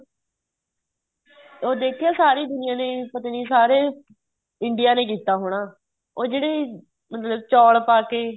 ਉਹ ਦੇਖਿਆਂ ਸਾਰੀ ਦੁਨੀਆਂ ਨੇ ਪਤਾ ਨਹੀਂ ਸਾਰੇ India ਨੇ ਕੀਤਾ ਹੋਣਾ ਉਹ ਜਿਹੜੇ ਮਤਲਬ ਚੋਲ ਪਾਕੇ